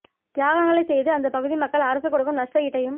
தியாகங்களை செய்து அந்த பகுதி மக்கள் அரசு கொடுக்கும் நஷ்ட ஈட்டையும்